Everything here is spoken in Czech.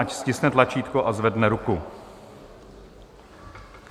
Ať stiskne tlačítko a zvedne ruku.